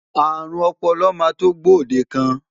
Àrùn ọpọlọ máa tó gbòdekàn.